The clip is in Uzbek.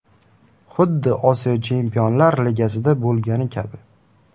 Xuddi Osiyo Chempionlar Ligasida bo‘lgani kabi.